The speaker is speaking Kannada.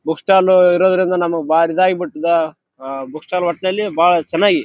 ಅಲ್ ಬಾರಿ ಚನ್ನಾಗಿರೋ ಒಳ್ಳೊಳ್ಳೆ ಬುಕ್‌ ಗೊಳ್ ಇದಾವ ಅಲ್ಲಿ.